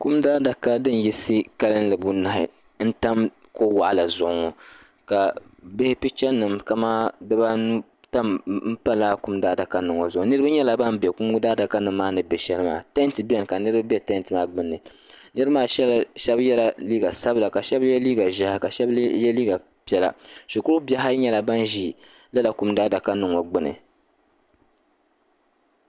Kum daadaka din yiɣisi kalinli bunahi n tam kuɣu waɣala zuɣu ŋɔ ka bihi picha nima kaman dibaanu m pa lala kum daadaka nima ŋɔ zuɣu niriba nyɛla ban be kum daadaka nima ŋɔ ni be sheli maa tanti biɛni ka niriba be tanti maa gbini niriba maa sheba yela liiga sabila ka sheba ye liiga ʒehi ka sheba ye liiga piɛla shukuru bihi ayi nyɛla ban ʒi lala kum daadaka nima ŋɔ gbini.